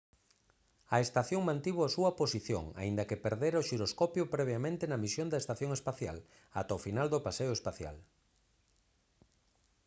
a estación mantivo a súa posición aínda que perdera o xiroscopio previamente na misión da estación espacial ata o final do paseo espacial